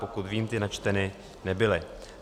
Pokud vím, ty načteny nebyly.